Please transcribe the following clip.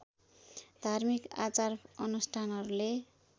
धार्मिक आचार अनुष्ठानहरूले